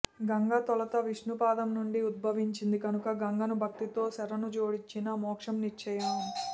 గంగ తొలుత విష్ణు పాదం నుండి ఉద్భవించింది కనుక గంగను భక్తితో శరణుజొచ్చిన మోక్షం నిశ్చయం